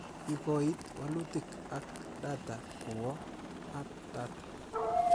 Ikoit wlutik ak data kowo Hub Data